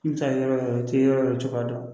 I bɛ taa yɔrɔ i tɛ yɔrɔ la cogoya dɔ